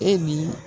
E ni